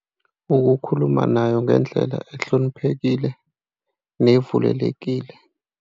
Ukukhuluma nayo ngendlela ehloniphekile nevumelekile.